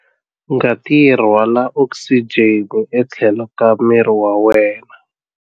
Ngati yi rhwala okisijeni etlhelo ka miri wa wena.